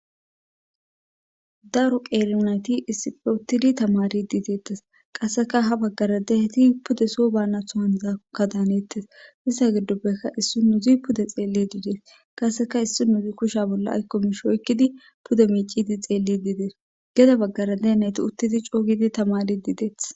daro qeermnayti issife uttidi tamari diiteettes qasseka ha baggaradeheti pude so baanathohanzaaka daaneettes sissa gidoppekka issi nuzi pude xeelli diidees qasseka issi nuzi kusha bolla aykkomish oykkidi puda miicidi xeelli diidees geda baggaradeneti uttidi coogidi tamari diideeth